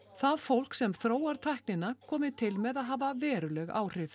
það fólk sem þróar tæknina komi til með að hafa veruleg áhrif